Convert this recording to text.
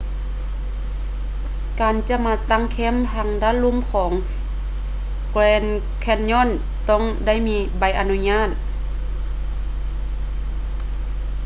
ການຈະມາຕັ້ງແຄ້ມທາງດ້ານລຸ່ມຂອງ grand canyon ຕ້ອງໄດ້ມີໃບອະນຸຍາດ